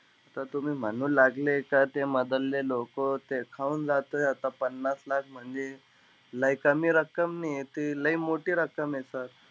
तर तुम्ही म्हणू लागले, ते मधले लोक ते खाऊन जाते. आता पन्नास लाख म्हणजे, लय कमी रक्कम नाहीये. ते लय मोठी रक्कम आहे sir.